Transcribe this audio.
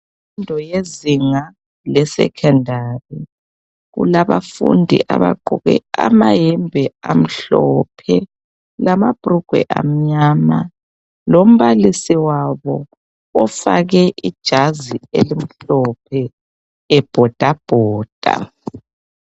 Imfundo yezinga lesecondary. Kulabafundi abagqoke amayembe amhlophe. Lamabhurugwe amnyama. Lombalisi wabo ofake ijazi elimhophe. Ebhodabhoda.